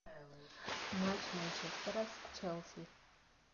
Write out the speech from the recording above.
матч манчестера с челси